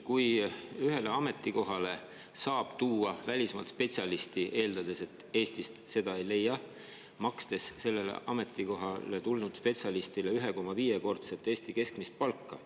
Ühele ametikohale saab tuua välismaalt spetsialisti, eeldades, et Eestist seda ei leia, ja maksta sellele ametikohale tulnud spetsialistile 1,5‑kordset Eesti keskmist palka.